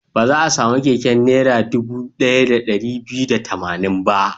Ba za a sami keken Naira dubu ɗaya da ɗari biyu da tamanin ba.